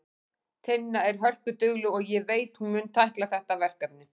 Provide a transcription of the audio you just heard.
Tinna er hörkudugleg og ég veit að hún mun tækla þetta verkefni.